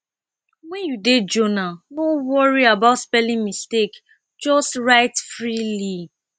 when you dey journal no worry about spelling mistake just write freely